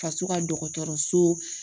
Faso ka dɔgɔtɔrɔso